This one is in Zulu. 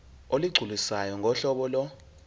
olugculisayo ngohlobo lo